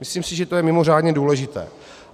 Myslím si, že to je mimořádně důležité.